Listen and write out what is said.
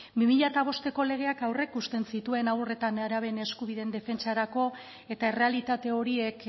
bi mila bosteko legeak aurreikusten zituen haur eta nerabeen eskubideen defentsarako eta errealitate horiek